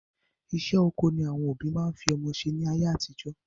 Iṣẹ́ oko ni àwọn òbí máa ń fi ọmọ ṣe ni ayé àtijọ́